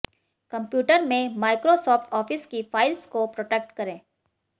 computer में Microsoft office की files को प्रोटेक्ट करें